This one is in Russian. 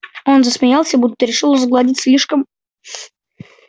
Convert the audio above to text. он засмеялся будто решил сгладить слишком